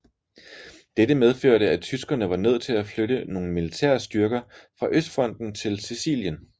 Dette medførte at tyskerne var nødt til at flytte nogle militære styrker fra Østfronten til Sicilien